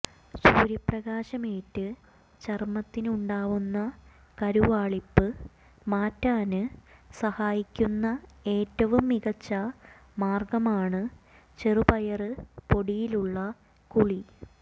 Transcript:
സൂര്യപ്രകാശമേറ്റ് ചര്മ്മത്തിനുണ്ടാവുന്ന കരുവാളിപ്പ് മാറ്റാന് സഹായിക്കുന്ന ഏറ്റവും മികച്ച മാര്ഗ്ഗമാണ് ചെറുപയര് പൊടിയിലുള്ള കുളി